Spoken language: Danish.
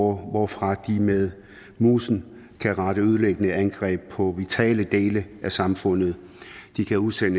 hvorfra de med musen kan rette ødelæggende angreb på vitale dele af samfundet de kan udsende